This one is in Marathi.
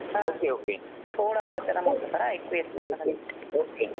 हं थोडा आवाज जरा मोठा कर मला ऐकू येत नाही मला नीट